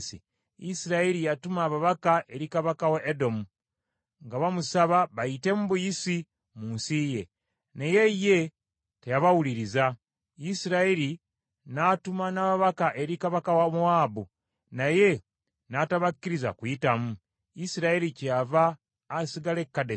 Isirayiri yatuma ababaka eri kabaka wa Edomu nga bamusaba bayitemu buyisi mu nsi ye. Naye ye teyabawuliriza. Isirayiri n’atuma n’ababaka eri kabaka wa Mowaabu, naye n’atabakkiriza kuyitamu. Isirayiri kyeyava asigala e Kadesi.